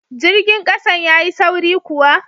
Jirgin kasan ya Yi sauri kuwa?